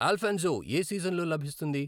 అల్ఫాన్సో యే సీజన్లో లభిస్తుంది?